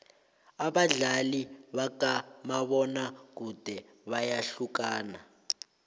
abadlali bakamabona kude bayahlukana